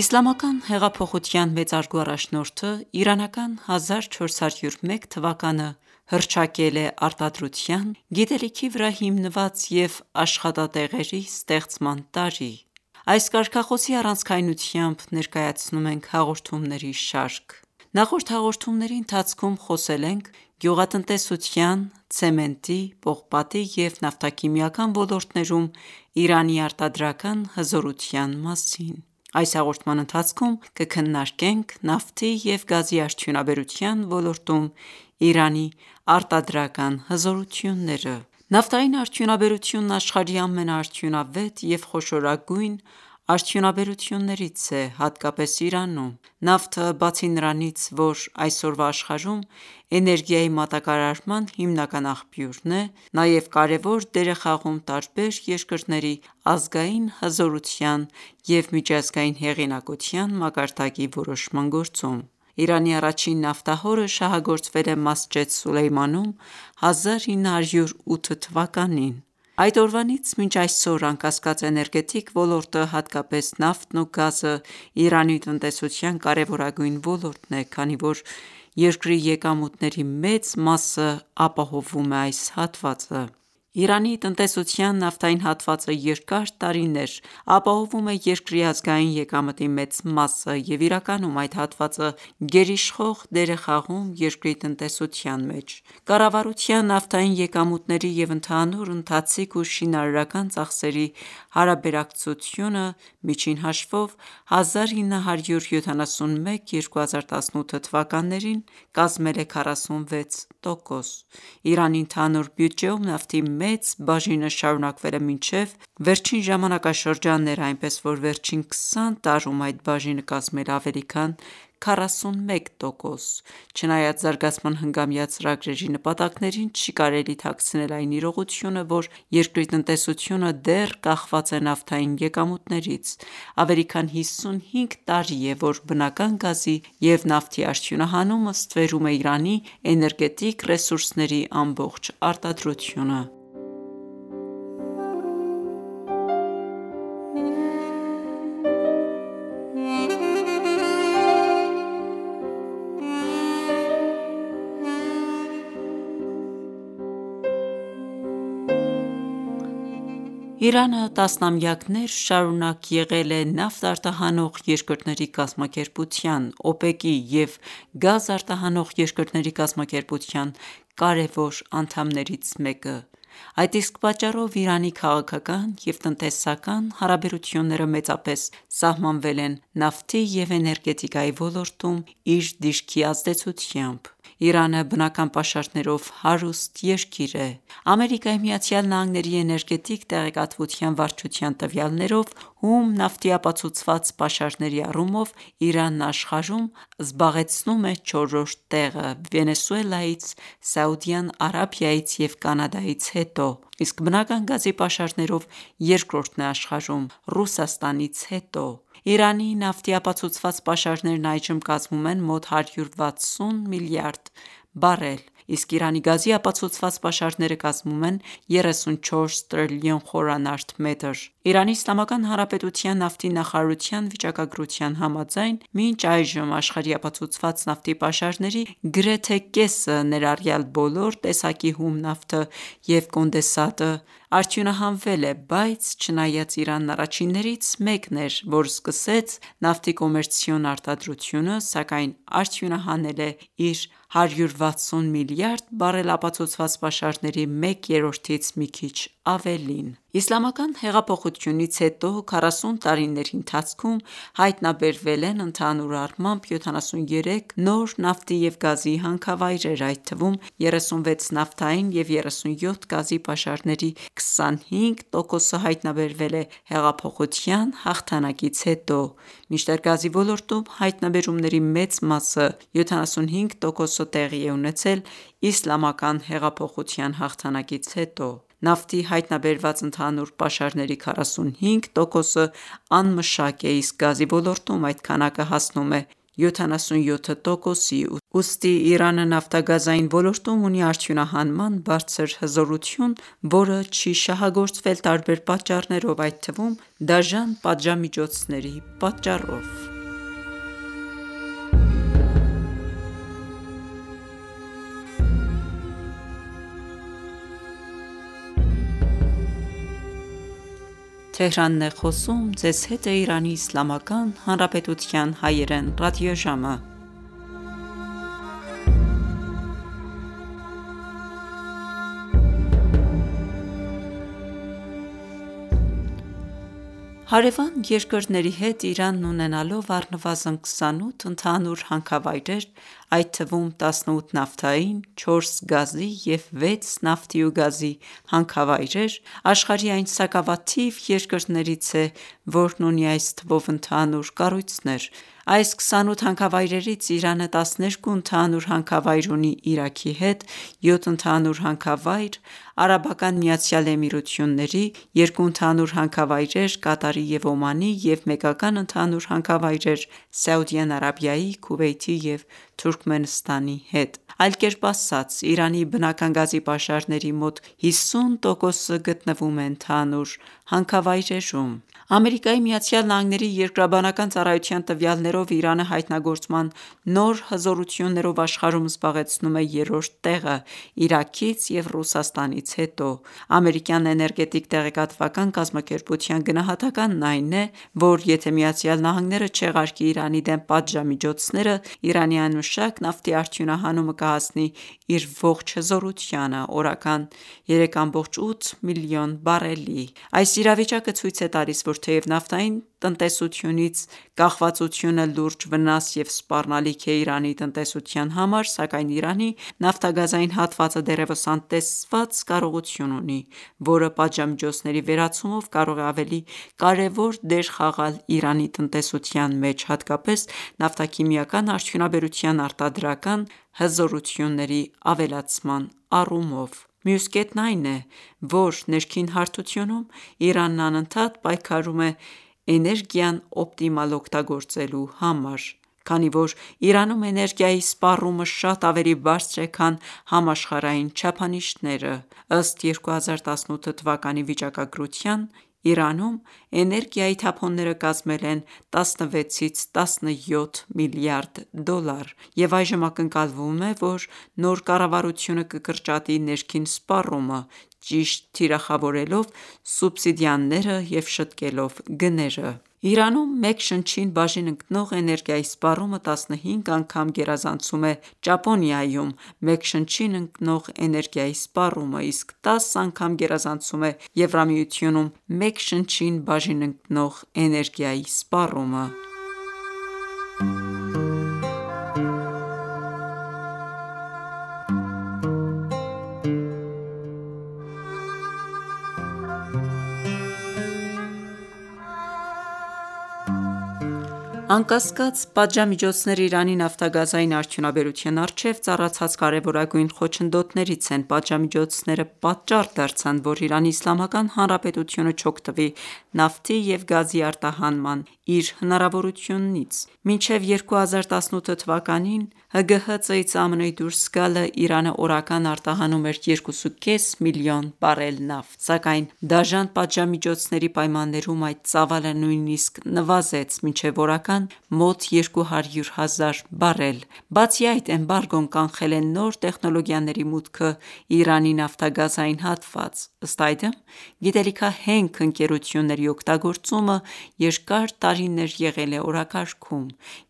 Իսլամական հեղափոխության մեծարգո առաջնորդը իրանական 1401 թվականը հռչակել է «Արտադրության, գիտելիքի վրա հիմնված և աշխատատեղերի ստեղծման տարի»։ Այս կարգախոսի առանցքայնությամբ ներկայացնում ենք հաղորդումների շարք։ Նախորդ հաղորդումների ընթացքում խոսել ենք գյուղատնտեսության, ցեմենտի, պողպատի և նավթաքիմիական ոլորտներում Իրանի արտադրական հզորության մասին։ Այս հաղորդման ընթացքում կքննարկենք նավթի և գազի արդյունաբերության ոլորտում Իրանի արտադրական հզորությունները։ Նավթային արդյունաբերությունը աշխարհի ամենաարդյունավետ և խոշորագույն արդյունաբերություններից է, հատկապես Իրանում։ Նավթը, բացի նրանից, որ այսօրվա աշխարհում էներգիայի մատակարարման հիմնական աղբյուրն է, նաև կարևոր դեր է խաղում տարբեր երկրների ազգային հզորության և միջազգային հեղինակության մակարդակի որոշման գործում։ Իրանի առաջին նավթահորը շահագործվել է Մասջեդ Սուլեյմանում 1908 թվականին։ Այդ օրվանից մինչ այսօր, անկասկած, էներգետիկ ոլորտը, հատկապես նավթն ու գազը, Իրանի տնտեսության կարևորագույն ոլորտն է, քանի որ երկրի եկամուտների մեծ մասն ապահովում է այս հատվածը։ Իրանի տնտեսության նավթային հատվածը երկար տարիներ ապահովում է երկրի ազգային եկամտի մեծ մասը, և իրականում այդ հատվածը գերիշխող դեր է խաղում երկրի տնտեսության մեջ։ Կառավարության նավթային եկամուտների և ընդհանուր ընթացիկ ու շինարարական ծախսերի հարաբերակցությունը, միջին հաշվով 1971-2018 թվականներին կազմել է 46%։ Իրանի ընդհանուր բյուջեում նավթի մեծ բաժինը շարունակվել է մինչև վերջին ժամանակաշրջանները, այնպես որ վերջին քսան տարում այդ բաժինը կազմել է ավելի քան 41 տոկոս։ Չնայած զարգացման հնգամյա ծրագրերի նպատակներին, չի կարելի թաքցնել այն իրողությունը, որ երկրի տնտեսությունը դեռ կախված է նավթային եկամուտներից։ Ավելի քան 55 տարի է, որ բնական գազի և նավթի արդյունահանումը ստվերում է Իրանի էներգետիկ ռեսուրսների ամբողջ արտադրությունը։ Իրանը տասնամյակներ շարունակ եղել է Նավթ արտահանող երկրների կազմակերպության (ՕՊԵԿ) և Գազ արտահանող երկրների կազմակերպության կարևոր անդամներից մեկը, այդ իսկ պատճառով Իրանի քաղաքական և տնտեսական հարաբերությունները մեծապես սահմանվել են նավթի և էներգետիկայի ոլորտում իր դիրքի ազդեցությամբ: Իրանը բնական պաշարներով հարուստ երկիր է։ ԱՄՆ-ի էներգետիկ տեղեկատվության վարչության տվյալներով, հում նավթի ապացուցված պաշարների առումով Իրանն աշխարհում զբաղեցնում է չորրորդ տեղը՝ Վենեսուելայից, Սաուդյան Արաբիայից և Կանադայից հետո, իսկ բնական գազի պաշարներով երկրորդն է աշխարհում՝ Ռուսաստանից հետո։ Իրանի նավթի ապացուցված պաշարներն այժմ կազմում են մոտ 160 միլիարդ բարել, իսկ Իրանի գազի ապացուցված պաշարները կազմում են 34 տրիլիոն խորանարդ մետր: Իրանի Իսլամական Հանրապետության նավթի նախարարության վիճակագրության համաձայն, մինչ այժմ աշխարհի ապացուցված նավթի պաշարների գրեթե կեսը, ներառյալ բոլոր տեսակի հում նավթը և կոնդենսատը, արդյունահանվել է, բայց չնայած Իրանն առաջիններից մեկն էր, որ սկսեց նավթի կոմերցիոն արտադրությունը, սակայն արդյունահանել է իր 160 միլիարդ բարել ապացուցված պաշարների մեկ երրորդից մի քիչ ավելին: Իսլամական հեղափոխությունից հետո 40 տարիների ընթացքում հայտնաբերվել են ընդհանուր առմամբ 73 նոր նավթի և գազի հանքավայրեր, այդ թվում՝ 36 նավթային և 37 գազի հանքավայրեր։ Նավթի և գազի հայտնաբերման արդյունքները ցույց են տալիս, որ նավթի պաշարների 25%-ը հայտնաբերվել է հեղափոխության հաղթանակից հետո, մինչդեռ գազի ոլորտում հայտնաբերումների մեծ մասը (75%) տեղի է ունեցել իսլամական հեղափոխության հաղթանակից հետո: Նավթի հայտնաբերված ընդհանուր պաշարների 45%-ը անմշակ է, իսկ գազի ոլորտում այդ քանակը հասնում է 77%-ի։ Ուստի Իրանը նավթագազային ոլորտում ունի արդյունահանման բարձր հզորություն, որը չի շահագործվել տարբեր պատճառներով, այդ թվում՝ դաժան պատժամիջոցների պատճառով։ Հարևան երկրների հետ Իրանն ունենալով առնվազն 28 ընդհանուր հանքավայրեր, այդ թվում՝ 18 նավթային, չորս գազի և 6 նավթի ու գազի հանքավայրեր, աշխարհի այն սակավաթիվ երկրներից է, որն ունի այս թվով ընդհանուր կառույցներ։ Այս 28 հանքավայրերից Իրանը 12 ընդհանուր հանքավայր ունի Իրաքի հետ, 7 ընդհանուր հանքավայր՝ ԱՄԷ-ի, երկու ընդհանուր հանքավայրեր Կատարի և Օմանի և մեկական ընդհանուր հանքավայրեր՝ Սաուդյան Արաբիայի, Քուվեյթի և Թուրքմենստանի հետ: Այլ կերպ ասած՝ Իրանի բնական գազի պաշարների մոտ 50%-ը գտնվում է ընդհանուր հանքավայրերում: ԱՄՆ-ի Երկրաբանական ծառայության տվյալներով, Իրանը հայտնագործման նոր հզորություններով աշխարհում զբաղեցնում է երրորդ տեղը՝ Իրաքից և Ռուսաստանից հետո։ Ամերիկյան էներգետիկ տեղեկատվական կազմակերպության գնահատականն այն է, որ եթե Միացյալ Նահանգները չեղարկի Իրանի դեմ պատժամիջոցները, Իրանի անմշակ նավթի արդյունահանումը կհասնի իր ողջ հզորությանը՝ օրական 3,8 մլն բարելի։ Այս իրավիճակը ցույց է տալիս, որ թեև նավթային տնտեսությունից կախվածությունը լուրջ վնաս և սպառնալիք է Իրանի տնտեսության համար, սակայն Իրանի նավթագազային հատվածը դեռևս անտեսված կարողություն ունի, որը պատժամիջոցների վերացումով կարող է ավելի կարևոր դեր խաղալ Իրանի տնտեսության մեջ, հատկապես՝ նավթաքիմիական արդյունաբերության արտադրական հզորությունների ավելացման առումով: Մյուս կետն այն է, որ ներքին հարթությունում Իրանն անընդհատ պայքարում է էներգիան օպտիմալ օգտագործելու համար, քանի որ Իրանում էներգիայի սպառումը շատ ավելի բարձր է, քան համաշխարհային չափանիշները։ Ըստ 2018 թվականի վիճակագրության՝ Իրանում էներգիայի թափոնները կազմել են 16-ից 17 միլիարդ դոլար, և այժմ ակնկալվում է, որ նոր կառավարությունը կկրճատի ներքին սպառումը՝ ճիշտ թիրախավորելով սուբսիդիաները և շտկելով գները։ Իրանում մեկ շնչին բաժին ընկնող էներգիայի սպառումը 15 անգամ գերազանցում է Ճապոնիայում մեկ շնչին ընկնող էներգիայի սպառումը, իսկ 10 անգամ գերազանցում է Եվրամիությունում մեկ շնչին բաժին ընկնող էներգիայի սպառումը: Անկասկած, պատժամիջոցներն Իրանի նավթագազային արդյունաբերության առջեւ ծառացած կարեւորագույն խոչընդոտներից են։ Պատժամիջոցները պատճառ դարձան, որ Իրանի Իսլամական Հանրապետությունը չօգտվի նավթի և գազի արտահանման իր հնարավորություններից: Մինչև 2018 թվականին ՀԳՀԾ-ից ԱՄՆ-ի դուրս գալը, Իրանը օրական արտահանում էր 2,5 միլիոն բարել նավթ, սակայն դաժան պատժամիջոցների պայմաններում այդ ծավալը նույնիսկ նվազեց մինչև օրական մոտ 200 հազար բարել։ Բացի այդ, էմբարգոն կանխել է նոր տեխնոլոգիաների մուտքը Իրանի նավթագազային հատված։ Ըստ այդմ, գիտելիքահենք ընկերությունների օգտագործումը երկար տարիներ եղել է օրակարգում։